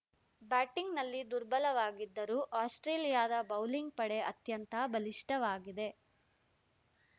ಬ್ಯಾಟಿಂಗ್‌ನಲ್ಲಿ ದುರ್ಬಲವಾಗಿದ್ದರೂ ಆಸ್ಪ್ರೇಲಿಯಾದ ಬೌಲಿಂಗ್‌ ಪಡೆ ಅತ್ಯಂತ ಬಲಿಷ್ಠವಾಗಿದೆ